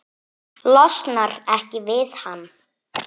Losnar ekki við hann.